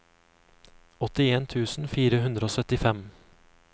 åttien tusen fire hundre og syttifem